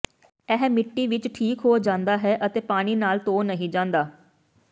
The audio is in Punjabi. ਇਹ ਮਿੱਟੀ ਵਿੱਚ ਠੀਕ ਹੋ ਜਾਂਦਾ ਹੈ ਅਤੇ ਪਾਣੀ ਨਾਲ ਧੋ ਨਹੀਂ ਜਾਂਦਾ